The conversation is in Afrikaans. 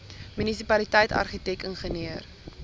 munisipaliteit argitek ingenieur